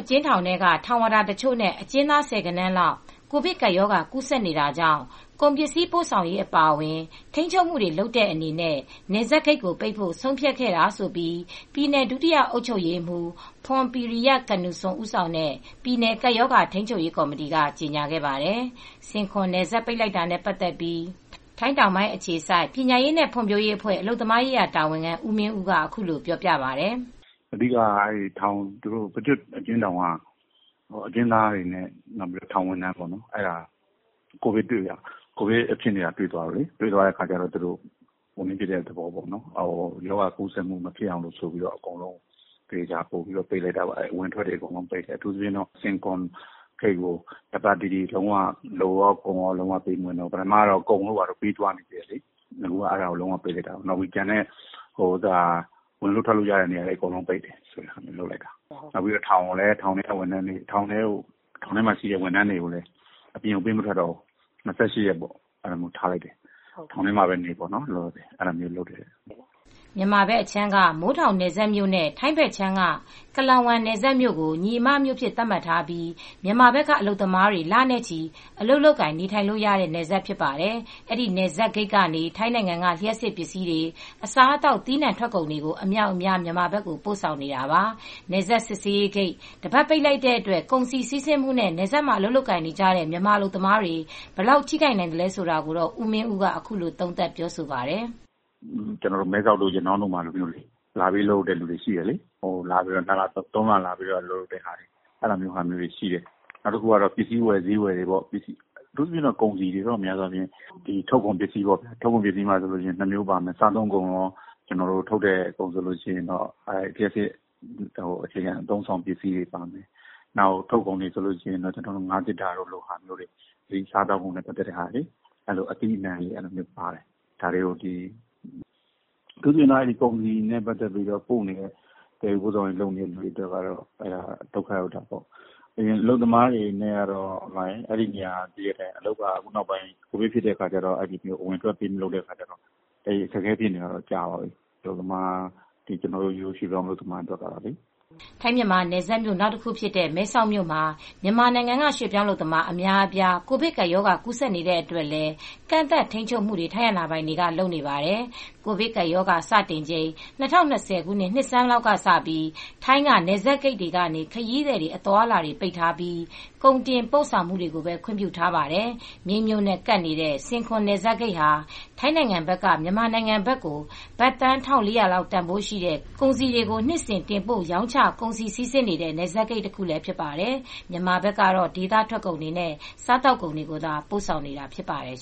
အကျဉ်းထောင်တွင်းက ထောင်ဝါဒါတချို့နဲ့ အကျဉ်းသားဆယ်ဂဏန်းလောက် ကိုဗစ်ကပ်ရောဂါကူးစက်နေတာကြောင့် ကုန်ပစ္စည်းပို့ဆောင်ရေးအပါအဝင် ထိန်းချုပ်မှုတွေလုပ်တဲ့အနေနဲ့ နယ်စပ်ဂိတ်ပိတ်ဖို့ ဆုံးဖြတ်ခဲ့တာလို့ ပြည်နယ် ဒုတိယအုပ်ချုပ်ရေးမှူး ဖွန်ပီရီယ ကနူဆွန် ဦးဆောင်တဲ့ ပြည်နယ် ကပ်ရောဂါထိမ်းချုပ်ရေးကော်မတီ်က ကြေညာခဲ့ပါတယ်။ ဆင်ခွန်နယ်စပ်ဂိတ် ပိတ်လိုက်တာနဲ့ပတ်သက်လို့ ထိုင်းတောင်ပိုင်းအခြေစိုက် ပညာရေးနဲ့ ဖွံ့ဖြိုးရေးအဖွဲ့အလုပ်သမားရေးရာတာဝန်ခံ ဦးမင်းဦးက အခုလိုပြောပါတယ်။ "အဓိက ပကျွတ်အကျဉ်းထောင်က အကျဉ်းသားတွေနဲ့ ထောင်ဝန်ထမ်းတွေမှာ ကိုဗစ်ကူးဆက်မူတွေဖြစ်တဲ့အတွက် တွေ့တဲ့အတွက် ရောဂါကူးစက်မူမဖြစ်အောင်လို့ အကုန်လုံးကိုပိတ်လိုက်တာ။ အဝင်အထွက်တွေပိတ်လိုက်တာ အထူးသဖြင့် ဆင်ခွန်ဂိတ်ကို လူကော ကုန်ရော အကုန်လုံးပိတ်လိုက်တာ ထောင်ထဲမှာရှိတဲ့ဝန်ထမ်းတွေကိုလည်း အပြင်ပေးမထွက်တော့ဘူး ၂၈ ရက်ထောင်ထဲမှာပဲနေပေါ့ ။" မြန်မာဘက်အခြမ်းက မိုးထောင်နယ်စပ်မြို့နဲ့ ထိုင်းဘက်အခြမ်းက Klong Wan နယ်စပ်မြို့ကို ညီအမမြို့အဖြစ်သတ်မှတ်ထားပြီး မြန်မာဘက်ကအလုပ်သမားတွေ လနဲ့ချီ အလုပ်လုပ်ကိုင်နေထိုင်လို့ရတဲ့ နယ်စပ်ဖြစ်ပါတယ်။ အဲဒီနယ်စပ်ဂိတ်ဘက်ကနေ ထိုင်းနိုင်ငံက လ ျှပ်စစ်ပစ္စည်းတွေ၊ အစားအသောက် သီးနှံထွက်ကုန်တွေအမြောက်အများ မြန်မာဘက်ကို ပို့ဆောင်နေတာပါ။ နယ်စပ်စစ်ဆေးဂိတ် တပတ်ပိတ်လိုက်တဲ့အတွက် ကုန်စည်စီးဆင်းမှုနဲ့ နယ်စပ်မှာ အလုပ်လုပ်နေတဲ့ မြန်မာအလုပ်သမားတွေ ဘယ်လောက် ထိခိုက်နိုင်သလဲဆိုတာ ကိုမင်းဦးက ခုလို သုံးသပ်ပါတယ်။ "မဲဆောက်တို့ ရနောင်းတို့လည်း လပေးလုပ်တဲ့သူတွေရှိတယ် ၃ လ အလုပ်လုပ်လို့ရတဲ့မြို့ဖြစ်တယ်လေ ပစ္စည်းဝယ်ဈေးဝယ် ကုန်စည်တွေ ထုတ်ကုန်မှာ နှစ်မျိုးရှိတယ်။ စားသောက်ကုန်တို့ လျှပ်စစ်အခြေခံ အသုံးအဆောင်ပစ္စည်းတွေ ပါတယ် ထုတ်ကုန်အနေနဲ့ ငါးသေတ္တာတို့ ဟာမျိုးတွေ ပို့တာရှိတယ် စားသောက်ကုန်နဲ့ပတ်သက်လို့ အသီးအနှံတို့ပါတယ် အထူးသဖြင့် ကုန်စည်နဲ့ပတ်သက်ပြီး ပို့နေတဲ့ သယ်ယူပို့ဆောင်ရေးလုပ်နေတဲ့သူတွေအတွက် အလုပ်သမားတွေအတွက်ကတော့ အလုပ်က ကိုဗစ်ဖြစ်ပြီးနောက်ပိုင်း အဝင်အထွက်လုပ်မရတော့ အခက်အခဲဖြစ်နေတာတော့ကြာပြီ ကျနော်တို့ရွှေ့ပြောင်းအလုပ်သမားတွေအတွက်ကတော့ပေါ့။" ထိုင်းမြန်မာ နယ်စပ်မြို့ နောက်တခုဖြစ်တဲ့ မဲဆောက်မြို့မှာ မြန်မာနိုင်ငံက ရွှေ့ပြောင်းအလုပ်သမား အများအပြား ကိုဗစ်ကပ်ရောဂါ ကူးစက်နေကြတဲ့အတွက်လည်း ကန့်သတ်ထိန်းချုပ်မှုတွေ ထိုင်းအာဏာပိုင်တွေက လုပ်နေပါတယ်။ ကိုဗစ်ကပ်ရောဂါစတင်ချိန်၂၀၂၀ နှစ်ဆန်းလောက်ကစပြီး ထိုင်းက နယ်စပ်ဂိတ်တွေကနေ ခရီးသည်အသွားအလာပိတ်ထားပြီး ကုန်တင်ပို့ တင်သွင်းမှုတွေကိုပဲ ခွင့်ပြုထားပါတယ်။ မြိတ်မြို့နဲ့ ကပ်နေတဲ့ ဆင်ခွန်နယ်စပ်ဂိတ်ဟာ ထိုင်းနိုင်ငံဘက်က မြန်မာနိုင်ငံဘက်ကို ဘတ်သန်း ၁,၄၀၀ လောက် တန်ဖိုးရှိတဲ့ ကုန်စည်တွေ နှစ်စဉ် တင်ပို့ရောင်းချ ကုန်စည်စီးဆင်းနေတဲ့ နယ်စပ်ဂိတ်တခုလည်းဖြစ်ပါတယ် မြန်မာနိုင်ငံဘက်ကတော့ ဒေသထွက်ကုန်တွေ စားသောက်ကုန်တွေကိုသာ ပို့ဆောင်နေတာဖြစ်ပါတယ်